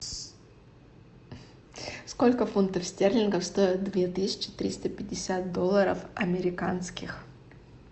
сколько фунтов стерлингов стоят две тысячи триста пятьдесят долларов американских